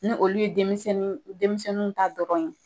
Ni olu ye denmisɛnninw denmisɛnninw ta dɔrɔn ye.